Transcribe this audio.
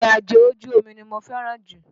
Ìrìnàjò ojú omi ni mo fẹ́ràn jù.